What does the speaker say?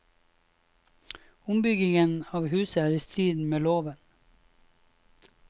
Ombyggingen av huset er i strid med loven.